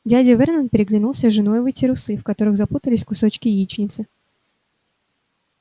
дядя вернон переглянулся с женой и вытер усы в которых запутались кусочки яичницы